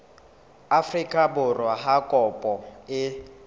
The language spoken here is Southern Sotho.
afrika borwa ha kopo e